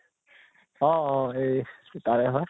অ অ এই তাৰে হয়